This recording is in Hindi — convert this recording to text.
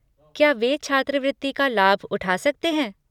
क्या वे छात्रवृत्ति का लाभ उठा सकते हैं?